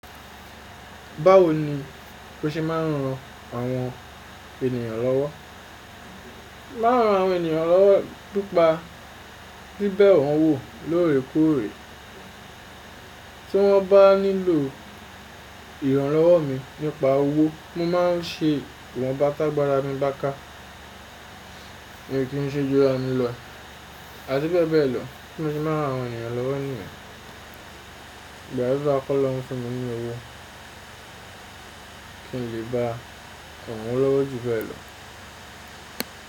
Báwo ni o ṣe mà ń ran àwọn ènìyàn lówó? Mà ń ran àwọn ènìyàn lówó pipa bíbẹ wọ́n wò lóòrèkóòrè tí wọ́n bá nílò ìrànlọ́wọ́ mi nípa owó mo mà ń ṣe iwọ́nbà tágbara mí bá ká mio kí n ṣe juramì lọ àti bẹ́ẹ̀ bẹ́ẹ̀ lọ. Bí mo ṣe ma nran àwọn ènìyàn lówó niyẹn? Mo gbàdúrà kólọ́run fún mi ní owó kí n lè bá ràn wọ́n lówó ju bẹ́ẹ̀ lọ.